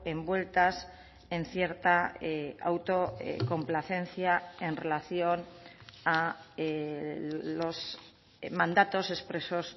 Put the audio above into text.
envueltas en cierta autocomplacencia en relación a los mandatos expresos